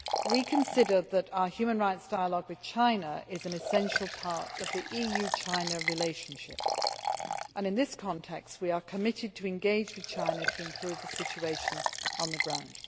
We consider that our human rights dialogue with China is an essential part of the EU China relationship and in this context we are committed to engage with China to improve the situation on the ground.